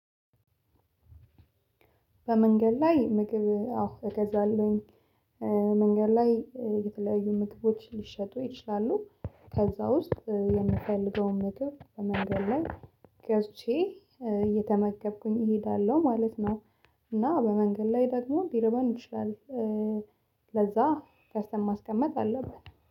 በመንገድ ላይ ምግብ አዎ እገዛለሁኝ። እ መንገድ ላይ እ የተለያዩ ምግቦች ሊሸጡ ይችላሉ ከዛ ውስጥ እ የምፈልገውን ምግብ በመንገድ ላይ ገዝቼ እየተመገብኩኝ እሄዳለሁ ማለት ነው። እና በመንገድ ላይ ደግሞ ሊርበን ይችላል ለዛ ገዝተን ማስቀመጥ አለብን